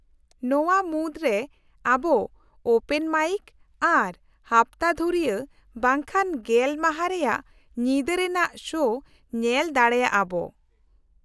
-ᱱᱚᱶᱟ ᱢᱩᱫᱨᱮ ᱟᱵᱚ ᱳᱯᱮᱱ ᱢᱟᱭᱤᱠ ᱟᱨ ᱦᱟᱯᱛᱟ ᱫᱷᱩᱨᱤᱭᱟᱹ ᱵᱟᱝᱠᱷᱟᱱ ᱜᱮᱞ ᱢᱟᱦᱟ ᱨᱮᱭᱟᱜ ᱧᱤᱫᱟᱹ ᱨᱮᱱᱟᱜ ᱥᱳ ᱧᱮᱞ ᱫᱟᱲᱮᱭᱟᱜᱼᱟ ᱟᱵᱚ ᱾